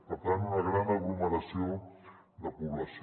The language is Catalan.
per tant una gran aglomeració de població